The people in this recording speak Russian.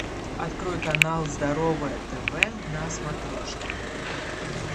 открой канал здоровое тв на смотрешке